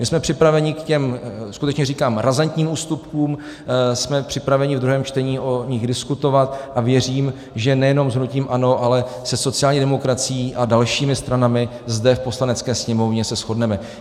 My jsme připraveni k těm, skutečně říkám, razantním ústupkům, jsme připraveni v druhém čtení o nich diskutovat a věřím, že nejenom s hnutím ANO, ale se sociální demokracií a dalšími stranami zde v Poslanecké sněmovně se shodneme.